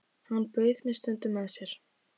Hann bauð mér stundum með sér.